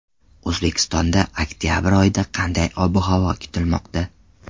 O‘zbekistonda oktabr oyida qanday ob-havo kutilmoqda?.